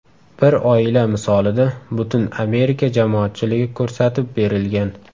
Bir oila misolida butun Amerika jamoatchiligi ko‘rsatib berilgan.